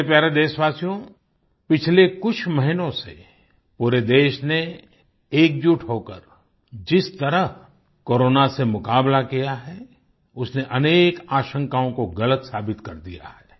मेरे प्यारे देशवासियो पिछले कुछ महीनों से पूरे देश ने एकजुट होकर जिस तरह कोरोना से मुकाबला किया है उसने अनेक आशंकाओं को गलत साबित कर दिया है